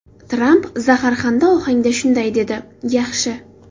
Tramp zaharxanda ohangda shunday dedi: ‘Yaxshi.